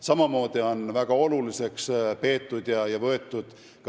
Samamoodi on väga oluliseks peetud kannatanute õiguste kaitset.